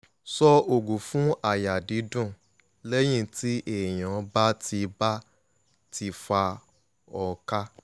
so ogun fun aya didun leyin ti eyan ba ti ba ti fa hookah